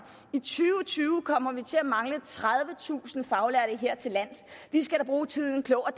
i to tusind tyve kommer vi til at mangle tredivetusind faglærte hertillands vi skal da bruge tiden klogt og